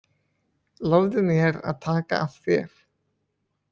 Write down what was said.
Lofaðu mér að taka af þér.